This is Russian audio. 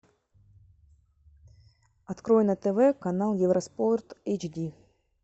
открой на тв канал евроспорт эйч ди